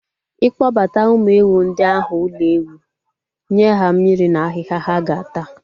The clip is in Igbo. I kpọbata ụmụ ewu ndị ahụ ụlọ ewu, nye ha mmiri na ahịhịa ha ga-ata